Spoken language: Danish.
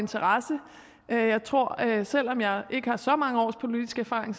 interesse jeg tror selv om jeg ikke har så mange års politisk erfaring